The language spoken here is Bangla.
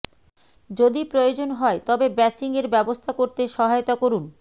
যদি প্রয়োজন হয় তবে ব্যাচিংয়ের ব্যবস্থা করতে সহায়তা করুন